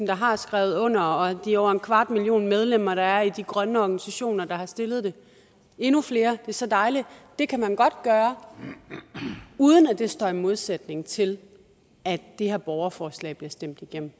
der har skrevet under og de over en kvart million medlemmer der er i de grønne organisationer der har stillet det endnu flere det er så dejligt det kan man godt gøre uden at det står i modsætning til at det her borgerforslag bliver stemt igennem